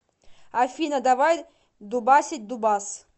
афина давай дубасить дубас